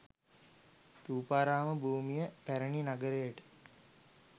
ථූපාරාම භූමිය පැරණි නගරයට